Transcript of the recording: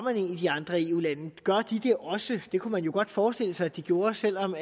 i andre eu lande gør de det også det kunne man jo godt forestille sig at de gjorde selv om